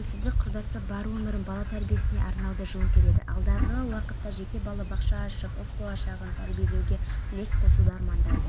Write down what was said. мәлім болғандай сақшылар меккедегі басты мешіттің маңындағы аджьяд ауданында лаңкестердің ұяшығы барын анықтаған оларды қолға түсіру